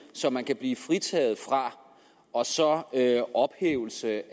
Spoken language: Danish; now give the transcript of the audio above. som man kan blive fritaget fra og så ophævelsen af